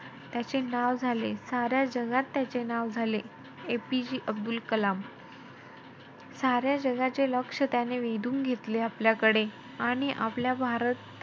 त्याचे नाव झाले. साऱ्या जगात त्याचे नाव झाले, APJ अब्दुल कलाम. साऱ्या जगाचे लक्ष त्याने वेधून घेतले आपल्याकडे. आणि आपल्या भारत,